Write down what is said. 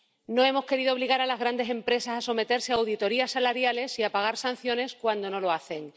No hemos querido obligar a las grandes empresas a someterse a auditorías salariales y a pagar sanciones cuando no lo hacen.